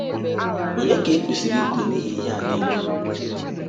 Ònye ka e kwesịrị ito n’ihi ihe a nile?